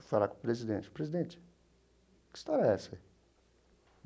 Eu falo para o presidente, presidente, que história é essa aí?